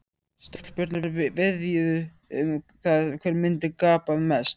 Stelpurnar veðjuðu um það hver myndi gapa mest.